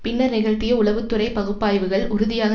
பின்னர் நிகழ்த்திய உளவு துறை பகுப்பாய்வுகள் உறுதியாக